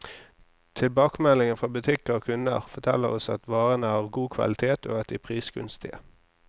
Tilbakemeldingene fra butikker og kunder, forteller oss at varene er av god kvalitet, og at de er prisgunstige.